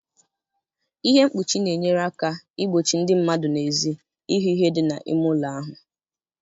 Ihe mkpuchi na-enyere aka igbochi ndị mmadụ n'èzí ịhụ ihe dị n'ime ụlọ ahụ